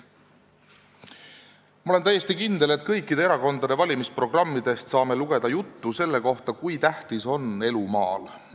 Ma olen täiesti kindel, et me saame kõikide erakondade valimisprogrammidest lugeda juttu selle kohta, kui tähtis on elu maal.